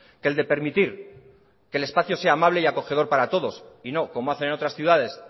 que el de permitir que el espacio sea amable y acogedor para todos y no como hacen otras ciudades